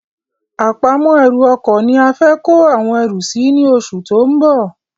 Àpamọ́ ẹrù ọkọ̀ ni a fẹ kó àwọn erù sì ni oṣù tó ń bọ̀